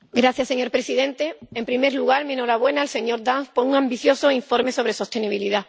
Señor presidente, en primer lugar mi enhorabuena al señor Dance por un ambicioso informe sobre sostenibilidad.